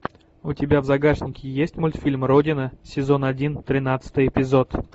у тебя в загашнике есть мультфильм родина сезон один тринадцатый эпизод